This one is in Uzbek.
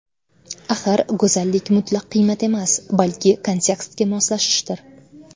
Axir go‘zallik mutlaq qiymat emas, balki kontekstga moslashishdir.